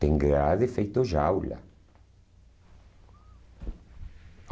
Tem grade feito jaula.